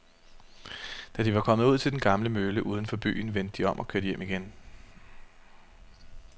Da de var kommet ud til den gamle mølle uden for byen, vendte de om og kørte hjem igen.